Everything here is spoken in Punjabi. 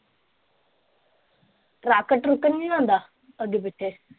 ਟਰੱਕ ਟਰੂਕ ਨਹੀਂ ਆਂਦਾ ਅੱਗੇ ਪਿੱਛੇ।